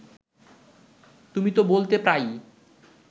তুমি তো বলতে প্রায়ই